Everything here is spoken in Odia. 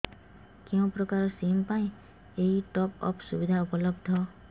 କେଉଁ ପ୍ରକାର ସିମ୍ ପାଇଁ ଏଇ ଟପ୍ଅପ୍ ସୁବିଧା ଉପଲବ୍ଧ